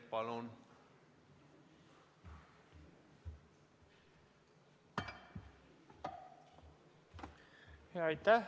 Palun!